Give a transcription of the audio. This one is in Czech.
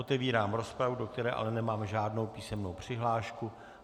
Otevírám rozpravu, do které ale nemám žádnou písemnou přihlášku.